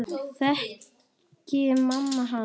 Þekkir mamma hann?